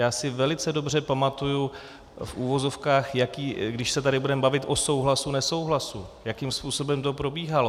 Já si velice dobře pamatuji v uvozovkách, když se tady budeme bavit o souhlasu, nesouhlasu, jakým způsobem to probíhalo.